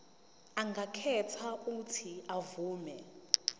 angakhetha uuthi avume